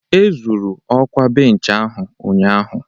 Ezuru okwa bench ahụ ụnyahụ